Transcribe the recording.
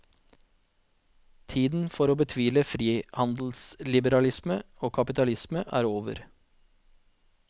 Tiden for å betvile frihandelsliberalisme og kapitalisme er over.